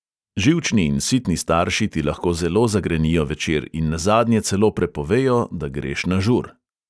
Živčni in sitni starši ti lahko zelo zagrenijo večer in nazadnje celo prepovejo, da greš na žur.